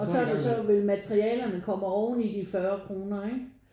Og så så vil materialerne komme oveni de 40 kroner ikke?